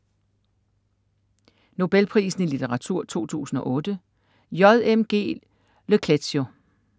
Nobelprisen i litteratur 2008: J. M. G. Le Clézio